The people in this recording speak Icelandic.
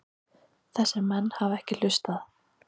Þessir menn hafa ekki hlustað.